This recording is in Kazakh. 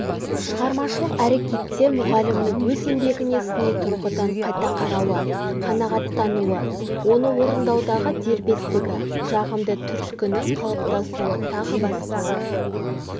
шығармашылық әрекетте мұғалімнің өз еңбегіне сыни тұрғыдан қайта қарауы қанағаттануы оны орындаудағы дербестігі жағымды түрткінің қалыптасуы тағы басқалар